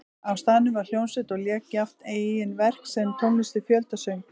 Á staðnum var hljómsveit og lék jafnt eigin verk sem tónlist við fjöldasöng.